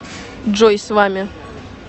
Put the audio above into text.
джой с вами